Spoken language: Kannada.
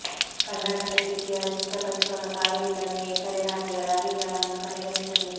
ಕರ್ನಾಟಕ ಡಿಪಿಆರ್ ಸಿದ್ಧಪಡಿಸುವಾಗ ಕಾವೇರಿ ಕಣಿವೆಯ ಇತರೆ ರಾಜ್ಯಗಳ ಅಭಿಪ್ರಾಯವನ್ನೂ ಪರಿಗಣಿಸಬೇಕು